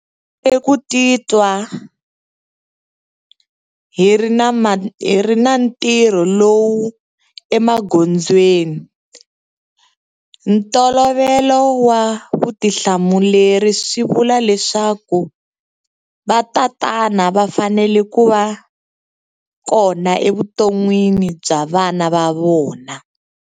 Ku titwa hi ri na ntirho lowu emagondzweni. Ntolovelo wa vutihlamuleri swi vula leswaku vatatana va fanele ku va kona evuton'wini bya vana va vona.